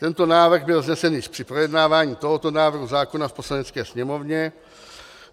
Tento návrh byl vznesen již při projednávání tohoto návrhu zákona v Poslanecké sněmovně.